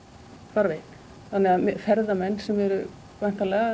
farveginn þannig að ferðamenn sem eru væntanlega